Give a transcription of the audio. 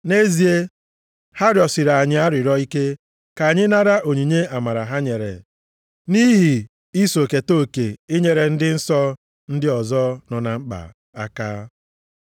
Nʼezie, ha rịọsiri anyị arịrịọ ike ka anyị nara onyinye amara ha nyere nʼihi iso keta oke inyere ndị nsọ ndị ọzọ nọ na mkpa aka.